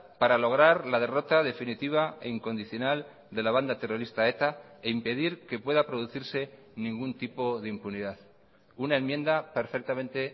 para lograr la derrota definitiva e incondicional de la banda terrorista eta e impedir que pueda producirse ningún tipo de impunidad una enmienda perfectamente